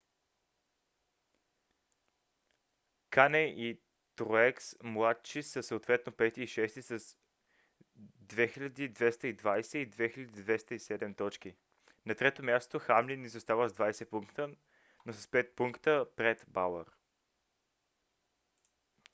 кане и труекс младши са съответно пети и шести с 2220 и 2207 точки. на трето място хамлин изостава с 20 пункта но с 5 пункта пред бауър